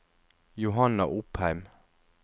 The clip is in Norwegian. Johanna Opheim